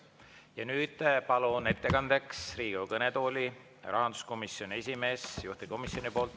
Ja nüüd palun ettekandeks Riigikogu kõnetooli rahanduskomisjoni esimehe juhtivkomisjoni nimel kõnelema.